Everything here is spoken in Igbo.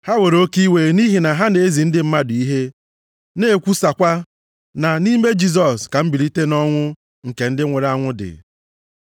Ha were oke iwe nʼihi na ha na-ezi ndị mmadụ ihe, na-ekwusakwa na nʼime Jisọs ka mbilite nʼọnwụ nke ndị nwụrụ anwụ dị.